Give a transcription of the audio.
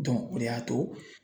o de y'a to